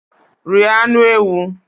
Rie anụ ewu.